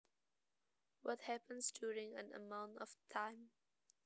What happens during an amount of time